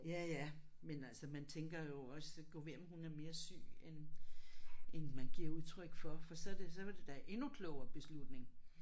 Ja ja men altså man tænker jo også god ved om hun er mere syg end end man giver udtryk for for så det så var det da endnu klogere beslutning